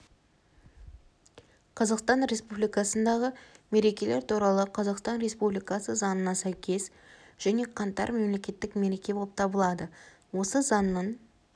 қазақстан республикасындағы мерекелер туралы қазақстан республикасы заңына сәйкес және қаңтар мемлекеттік мереке болып табылады осы заңның